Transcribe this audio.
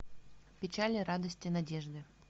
печали радости надежды